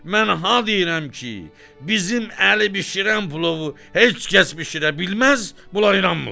Mən ha deyirəm ki, bizim Əli bişirən plovu heç kəs bişirə bilməz, bunlar inanmırlar.